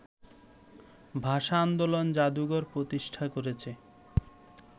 ভাষা-আন্দোলন জাদুঘর প্রতিষ্ঠা করেছে